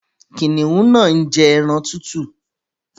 Kìnìún náà ń jẹ́ ẹran tútù